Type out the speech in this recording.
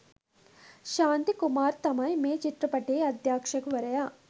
ශාන්ති කුමාර් තමයි මේ චිත්‍රපටියේ අධ්‍යක්‍ෂවරයා.